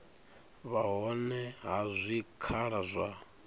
vha hone ha zwikhala zwa